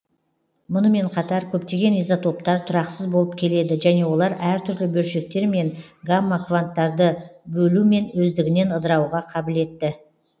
мұнымен қатар көптеген изотоптар тұрақсыз болып келеді және олар әр түрлі бөлшектер мен гамма кванттарды бөлумен өздігінен ыдырауға қабілетті